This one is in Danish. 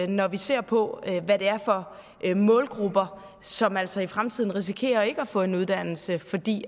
når vi ser på hvad det er for målgrupper som altså i fremtiden risikerer ikke at få en uddannelse fordi